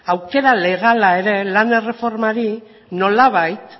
aukera legala ere lan erreformari nolabait